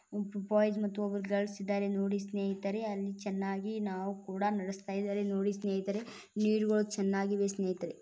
ಒಬ್ಬ ಬಾಯ್ಸ್ ಒಬ್ರು ಗರ್ಲ್ಸ್ ಇದ್ದಾರೆ ನೋಡಿ ಸ್ನೇಹಿತರೇ ಅಲ್ಲಿ ಚೆನ್ನಾಗಿ ನಾವ ಕೂಡ ನಡೆಸತ್ತಾ ಇದ್ದಾರೆ ನೋಡಿ ಸ್ನೇಹಿತರೇ ನೀರ್ ಗಳು ಚೆನ್ನಾಗಿವೆ ಸ್ನೇಹಿತರೆ.